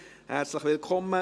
Herzlich willkommen!